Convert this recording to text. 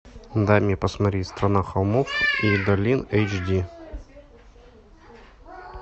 дай мне посмотреть страна холмов и долин эйч ди